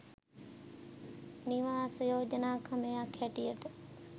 නිවාස යෝජනා ක්‍රමයක් හැටියට